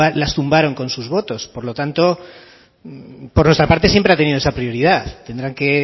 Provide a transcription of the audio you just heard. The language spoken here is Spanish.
tumbaron con sus votos por lo tanto por nuestra parte siempre ha tenido esa prioridad tendrán que